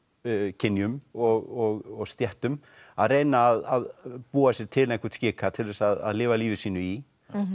kynjum og stéttum að reyna að búa sér til einhvern skika til þess að lifa lífi sínu í